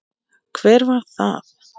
Hver var það?